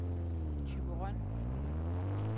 Thyborøn